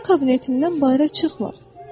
O kabinetindən bayıra çıxmır.